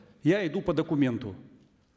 я иду по документу